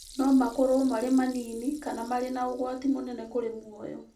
No makorũo marĩ manini kana marĩ na ũgwati mũnene kũrĩ mũoyo.